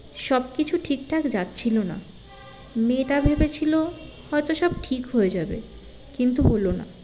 সবকিছু ঠিকঠাক যচ্ছিলো না মেয়েটা ভেবেছিলো হয়তো সব ঠিক হয়ে যাবে কিন্তু হলো না